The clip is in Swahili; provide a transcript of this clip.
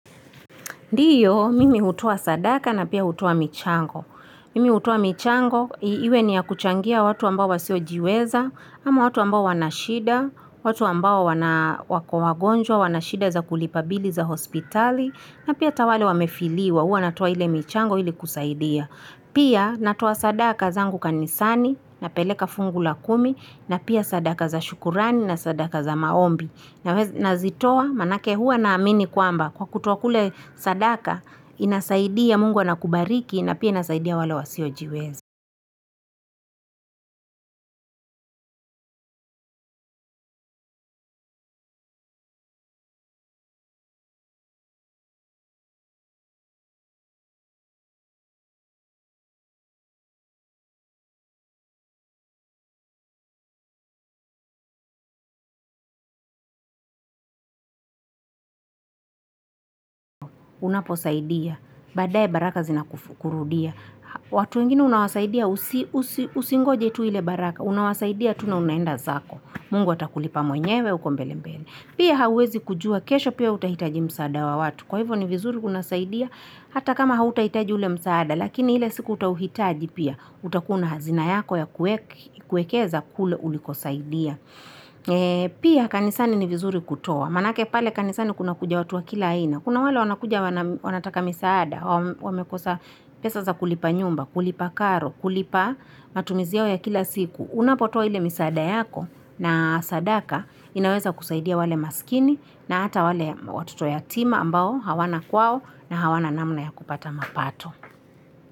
Ndio, mimi hutoa sadaka na pia hutoa michango. Mimi hutoa michango, iwe ni ya kuchangia watu ambao wasio jiweza, ama watu ambao wana shida, watu ambao wako wagonjwa, wanashida za kulipa bili za hospitali, na pia hata wale wamefiliwa, huwa natoa ile michango ili kusaidia. Pia natoa sadaka zangu kanisani, napeleka fungu la kumi, na pia sadaka za shukurani, na sadaka za maombi. Nazitoa maanake huwa na amini kwamba kwa kutoa kule sadaka, inasaidia Mungu anakubariki na pia inasaidia wale wasiojiweza. Unapo saidia, baadae baraka zinakurudia. Watu weningine unawasaidia, usingoje tu ile baraka, unawasaidia tu na unaenda zako. Mungu atakulipa mwenyewe, huko mbele mbele. Pia hauwezi kujua, kesho pia utahitaji msaada wa watu. Kwa hivyo ni vizuri unasaidia, hata kama hautahitaji ule msaada, lakini ile siku utauhitaji pia, utakuwa una hazina yako ya kuekeza kule ulikosaidia. Pia kanisani ni vizuri kutoa, maanake pale kanisani kuna kuja watu wa kila aina, kuna wale wanakuja wanataka misaada, wamekosa pesa za kulipa nyumba, kulipa karo, kulipa matumizi yao ya kila siku. Unapotoa ile misaada yako na sadaka inaweza kusaidia wale maskini na hata wale watito yatima ambao hawana kwao na hawana namna ya kupata mapato.